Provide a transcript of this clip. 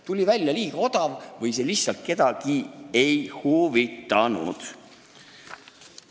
Tuli välja, et see oli liiga odav või see lihtsalt kedagi ei huvitanud.